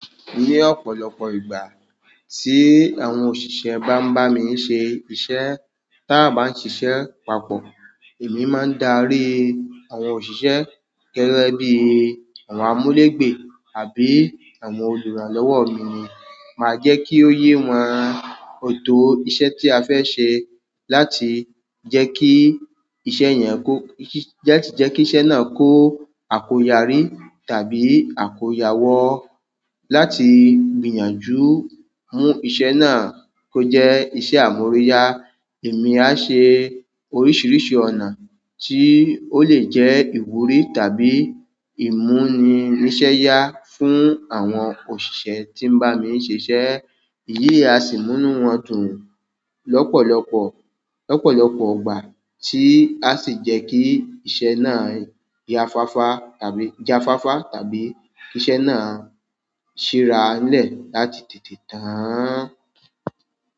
Ni ọ̀pọ̀lọpọ̀ ìgbà tí àwọn òṣìṣẹ́ bá ń bá mi se iṣẹ́, tí a bá ń ṣiṣẹ́ papọ̀, èmi máa ń darí àwọn òṣìṣẹ́ gẹ́gẹ́ bí àwọn amulegbe àbí àwọn oluranlọwọ mi ni. Màá jẹ́ kí ó yé wọn òtó iṣẹ́ tí a fẹ́ ṣe láti jẹ́ kí iṣẹ́ yẹn kó, jẹ́ kí iṣẹ́ náà kó àkóyarí tàbí àkóyawọ́. Láti gbìyànjú mú iṣẹ́ náà kó jẹ́ iṣẹ́ amoriya, èmi á ṣe oríṣiríṣi ọ̀nà tí ó lè jẹ́ ìwúrí tàbí ìmúni iṣẹ́ yá fún àwọn òṣìṣẹ́ tí ń bá mi ń ṣiṣẹ́. Iyi a sì mú nu wọ́n dùn lọ́pọ̀lọpọ̀, lọ́pọ̀lọpọ̀ gbà tí a sì jẹ́ kí iṣẹ́ náà ya fáfá tàbí ja fáfá tàbí iṣẹ́ náà ṣi rańlẹ́ láti tètè tán.